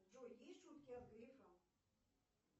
джой есть шутки от грефа